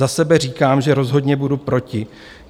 Za sebe říkám, že rozhodně budu proti.